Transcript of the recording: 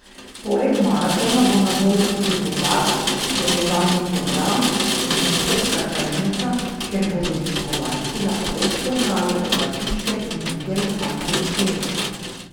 Poleg maratona bo na voljo tudi bogat spremljevalni program in istrska tržnica, kjer bodo obiskovalci lahko spoznali obrtniške in druge lokalne izdelke.